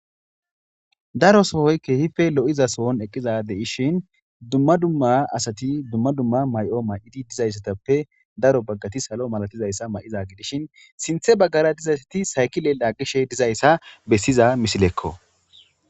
Daro sohoy keehife lo'iza sohon eqqiza deishin dumma dumma asati dumma dumma may'o may'odi dizayssatappe daro baggati salo malatizayssa ma'iza gidishin sinthe baggara dizaysati saykile lagqishe dizayssa bessiza misilekko.